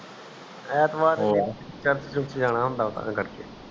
ਐਤਵਾਰ ਚਿਪਸ ਲਿਓਣਾ ਤਾ ਕਰਕੇ